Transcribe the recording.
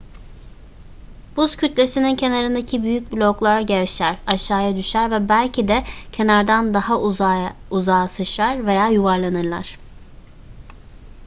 buz kütlesinin kenarındaki büyük bloklar gevşer aşağıya düşer ve belki de kenardan daha uzağa sıçrar veya yuvarlanırlar